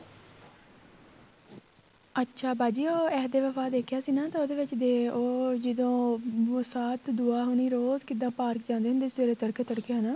ਅੱਛਾ ਬਾਜੀ ਉਹ ਦੇਖਿਆ ਸੀ ਨਾ ਤਾਂ ਉਹਦੇ ਵਿੱਚ ਉਹ ਜਦੋਂ ਮੁਸ਼ਤ ਦੁਆ ਹੋਣੀ ਰੋਜ ਕਿੱਦਾ ਪਾਰਕ ਜਾਂਦੀ ਹੁੰਦੀ ਸੀ ਸਵੇਰੇ ਤੜਕੇ ਤੜਕੇ ਹਨਾ